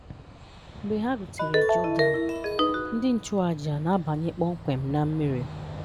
Mgbe ha rutere Jọdan, ndị nchụàjà na-abanye kpọmkwem na mmiri.